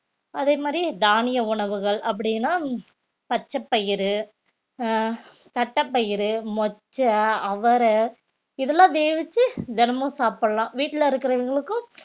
அதே மாதிரி தானிய உணவுகள் அப்படின்னா பச்சை பயிறு அஹ் தட்டப்பயிறு, மொச்சை, அவரை இதெல்லாம் வேவிச்சு தினமும் சாப்பிடலாம் வீட்டுல இருக்கிறவங்களுக்கும்